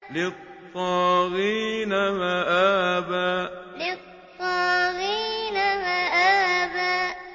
لِّلطَّاغِينَ مَآبًا لِّلطَّاغِينَ مَآبًا